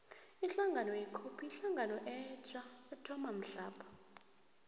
ihlangano ye cope yihlangano etja ethoma mhlapha